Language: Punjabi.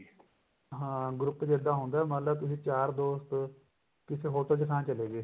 ਹਾਂ group ਚ ਇੱਦਾਂ ਹੁੰਦਾ ਮੰਨਲੋ ਤੁਸੀਂ ਚਾਰ ਦੋਸਤ ਓ ਕਿਸੇ hotel ਚ ਖਾਣ ਚਲੇ ਗਏ